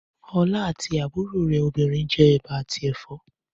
Ọlá àti àbúrò rẹ̀ obìnrin jẹ ẹ̀bà àti ẹ̀fọ́.